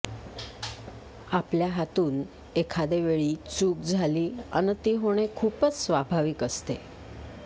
आपल्या हातून एखादे वेळी चूक झाली अन् ती होणे खूपच स्वाभाविक असते